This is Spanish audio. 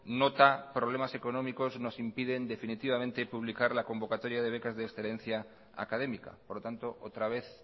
nota problemas económicos nos impiden definitivamente publicar la convocatoria de becas de excelencia académica por lo tanto otra vez